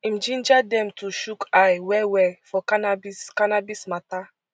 im ginger dem to chook eye wellwell for cannabis cannabis mata